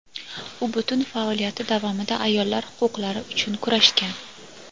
U butun faoliyati davomida ayollar huquqlari uchun kurashgan.